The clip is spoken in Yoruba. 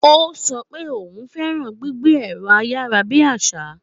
Ó sọ pé òun fẹ́ràn gbígbé ẹ̀rọ-ayárabíàsá.